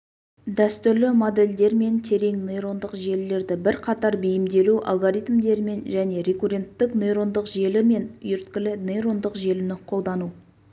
дәстүрлі модельдер мен терең нейрондық желілерді бірқатар бейімделу алгоритмдерімен және рекурренттік нейрондық желі мен үйірткілі нейрондық желіні қолдану